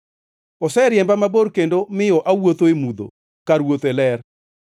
Oseriemba mabor kendo miyo awuotho e mudho kar wuotho e ler;